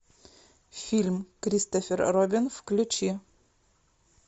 фильм кристофер робин включи